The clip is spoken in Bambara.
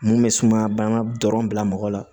Mun bɛ suma b'an ka dɔrɔn bila mɔgɔ la